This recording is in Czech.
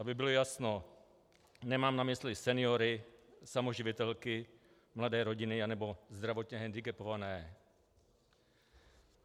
Aby bylo jasno, nemám na mysli seniory, samoživitelky, mladé rodiny nebo zdravotně hendikepované.